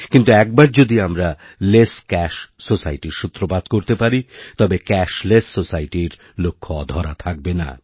কিন্তু একবার যদি আমরা লেসক্যাশ সোসাইটির সূত্রপাতকরতে পারি তবে ক্যাশলেস সোসাইটির লক্ষ্য অধরা থাকবে না